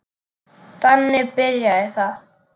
Þannig byrjaði það.